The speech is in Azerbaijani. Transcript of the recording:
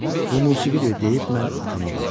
Bu musiqidir deyib mən atama baxdım.